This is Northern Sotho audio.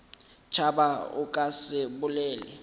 tšhaba o ka se bolele